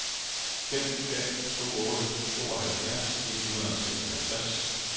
fem fem to otte tooghalvfjerds et hundrede og seksoghalvtreds